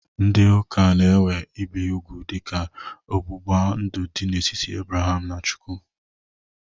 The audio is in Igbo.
Ndị ụka na-ewe ibe ugwu dịka ọgbụgba ndụ dị n'etiti Abraham na Chukwu.